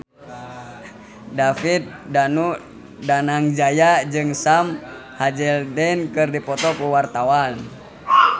David Danu Danangjaya jeung Sam Hazeldine keur dipoto ku wartawan